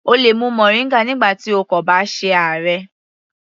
O lè mu moringa nígbà tí o kò bá ṣe àárẹ̀.